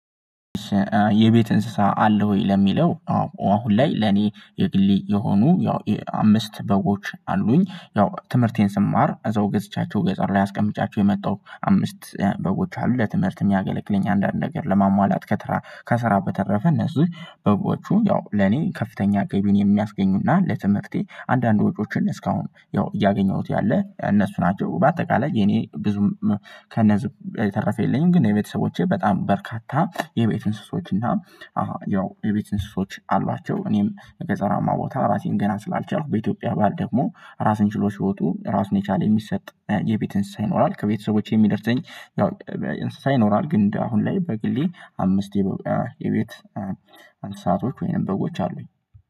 የቤት እንስሳ አለህ ወይ? ለሚለው አዎ አሁን ላይ ለኔ የግሌ የሆኑ ያው አምስት በጎች አሉኝ። ያው ትምህርቴን ስማር እዛው ገዝቻቸው ገጠር ላይ አስቀምጫቸው የመጣው አምስት በጎች አሉ ለትምህርት የሚያገለግለኝ አንዳንድ ነገር ለማሟላት ከትራ ከስራ በተረፈ እነሱን በጎቹ ያው ለኔ ከፍተኛ ገቢን የሚያስገኙና ለትምህርቴ አንዳንድ ወጪዎችን እስካሁን ያው እያገኘሁት ያለ እነሱ ናቸው። በአጠቃላይ የኔ ብዙም ከነዚህ የተረፈ የለኝም። ግን የቤተሰቦቼ በጣም በርካታ የቤት እንስሶች እና ያው የቤት እንስሶች አሏቸው። እኔም ገጠራማ ቦታ ራሴን ገና ስላልቻልኩ በኢትዮጵያ ባህል ደግሞ ራስን ችሎ ሲወጡ ራሱን የቻለ የሚሰጥ የቤት እንስሳ ይኖራል። ከቤተሰቦቼ የሚደርሰኝ ያው እንስሳ ይኖራል። ግን አሁን ላይ በግሌ አምስት የቤት እንስሳቶች ወይም በጎች አሉኝ